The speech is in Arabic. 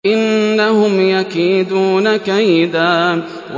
إِنَّهُمْ يَكِيدُونَ كَيْدًا